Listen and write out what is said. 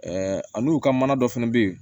ani u ka mana dɔ fana bɛ yen